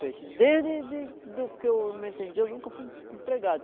peixe. Desde de de que eu me entendi, eu nunca fui empregado.